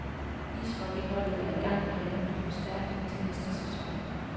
Ishockeyholdet er i gang med at hente forstærkning til næste sæson.